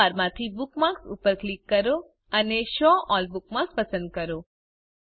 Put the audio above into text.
menu bar માંથી bookmarks ઉપર click કરો અને શો અલ્લ બુકમાર્ક્સ પસંદ કરો